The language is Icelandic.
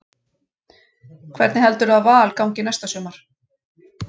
Hvernig heldurðu að Val gangi næsta sumar?